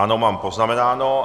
Ano, mám poznamenáno.